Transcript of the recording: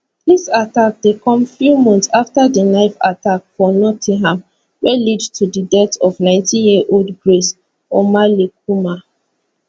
dis attack dey come few months afta di knife attack for nottingham wey lead to di death of nineteen year old grace omalleykumar